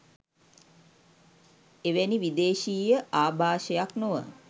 එවැනි විදේශීය ආභාෂයක් නොව